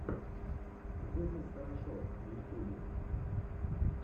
зыс из хорошо в ютюбе